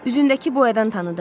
Üzündəki boyadan tanıdım.